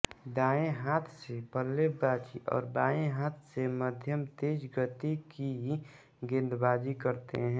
दाएँ हाथ से बल्लेबाज़ी और बाएँ हाथ से मध्यम तेज़ गति की गेंदबाज़ी करते हैं